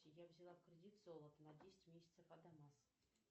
я взяла в кредит золото на десять месяцев адамас